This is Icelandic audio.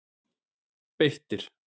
Beitir